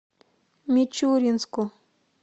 мичуринску